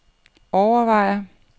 overvejer